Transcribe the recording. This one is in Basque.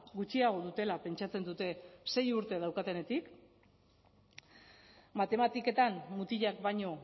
gutxiago dutela pentsatzen dute sei urte daukatenetik matematiketan mutilak baino